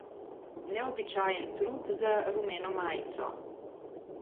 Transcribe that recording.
Neobičajen trud za rumeno majico.